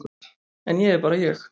En ég er bara ég.